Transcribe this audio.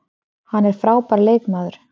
Hann er frábær leikmaður